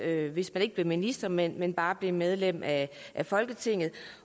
hvis man ikke blev minister men men bare blev medlem af folketinget